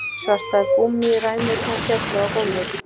Svartar gúmmíræmurnar féllu á gólfið